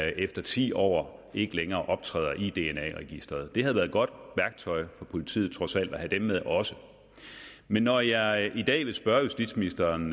efter ti år ikke længere optræder i dna registeret det havde været et godt værktøj for politiet trods alt at have dem med også men når jeg i dag vil spørge justitsministeren